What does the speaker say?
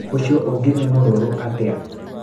Ũcio ũngĩ nĩ mũrũrũ atĩa.